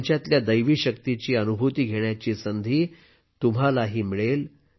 त्यांच्यातल्या दैवी शक्तीची अनुभूती घेण्याची संधी तुम्हालाही मिळेल